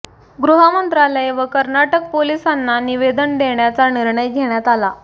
गृहमंत्रालय व कर्नाटक पोलिसांना निवेदन देण्याचा निर्णय घेण्यात आला